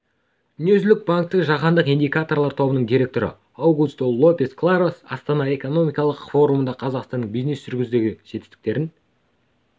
дүниежүзілік банктің жаһандық индикаторлар тобының директоры аугусто лопес кларос астана экономикалық форумында қазақстанның бизнес жүргізудегі жетістіктерін